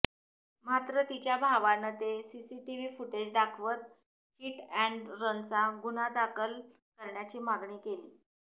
मात्र तिच्या भावानं ते सीसीटीव्ही फुटेज दाखवत हिट अँड रनचा गुन्हा दाखल करण्याची मागणी केली